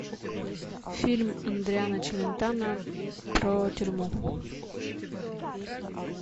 фильм адриано челентано про тюрьму